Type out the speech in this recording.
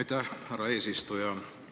Aitäh, härra eesistuja!